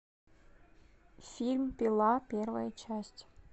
фильм пила первая часть